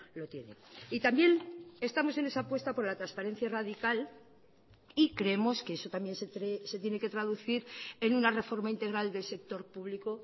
lo tiene y también estamos en esa apuesta por la transparencia radical y creemos que eso también se tiene que traducir en una reforma integral del sector público